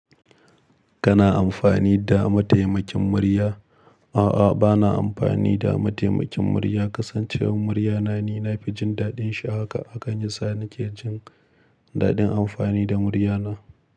Kana amfani da mataimakin murya? A'a, ba na amfani da mataimakin murya. Kasancewar murya na ni, na fi jin daɗin shi haka hakan yasa na ke jin daɗin amfani da murya na.